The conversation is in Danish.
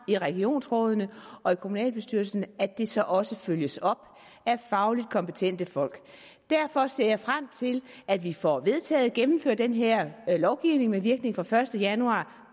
i regionsrådene og i kommunalbestyrelserne at det så også følges op af fagligt kompetente folk derfor ser jeg frem til at vi får vedtaget og gennemført den her lovgivning med virkning fra den første januar